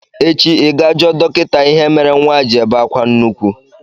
echi, ịga jụọ dokịta ihe mere nwa a ji ebe akwa nnukwu!